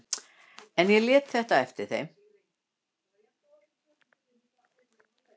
En ég lét þetta eftir þeim.